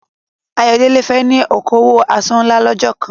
Ayodele fẹ́ ní okòwò aṣọ ńlá lọ́jọ́ kan.